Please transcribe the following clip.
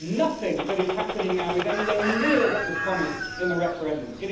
Nothing that is happening now is anywhere near what was promised in the referendum.